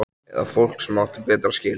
Eða fólk sem átti betra skilið?